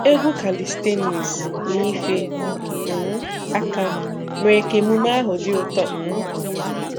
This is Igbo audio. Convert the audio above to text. Egwu kalịstenis na ife um aka mere ka emume ahụ dị ụtọ. um